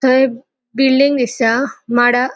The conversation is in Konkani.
थय बिल्डिंग दिसता माड़ा --